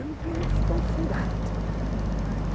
Eu não tinha um tostão furado